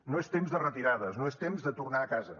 no és temps de retirades no és temps de tornar a casa